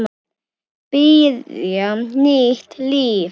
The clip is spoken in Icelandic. Byrja nýtt líf.